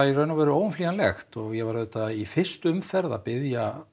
í raun og veru óumflýjanlegt og ég var auðvitað í fyrstu umferð að biðja